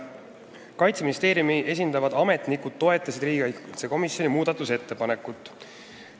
Kaitseministeeriumi esindavad ametnikud toetasid riigikaitsekomisjoni muudatusettepanekut.